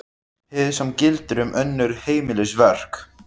Hið sama gildir um önnur heimilisverk.